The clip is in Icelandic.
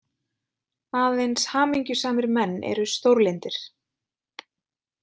Aðeins hamingjusamir menn eru stórlyndir.